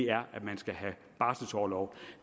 er at man skal have barselorlov